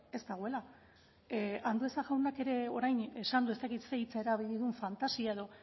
ez dagoela andueza jaunak ere orain esan du ez dakit ze hitza erabili duen fantasia edo